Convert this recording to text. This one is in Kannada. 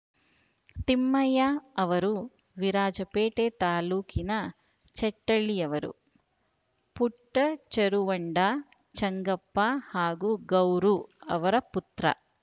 ತಿಮ್ಮಯ್ಯ ಅವರು ವಿರಾಜಪೇಟೆ ತಾಲೂಕಿನ ಚೆಟ್ಟಳ್ಳಿಯವರು ಪುಟ್ಟಚೆರುವಂಡ ಚೆಂಗಪ್ಪ ಹಾಗೂ ಗೌರು ಅವರ ಪುತ್ರ